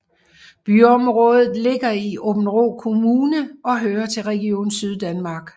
Byområdet ligger i Aabenraa Kommune og hører til Region Syddanmark